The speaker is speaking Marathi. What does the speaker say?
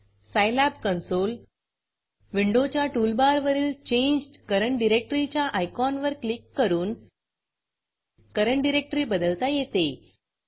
सिलाब consoleसाईलॅब कॉन्सोल विंडोच्या टूलबारवरील चेंज्ड करंट directoryचेंज्ड करेंट डाइरेक्टरी च्या आयकॉनवर क्लिक करून करंट डिरेक्टरी बदलता येते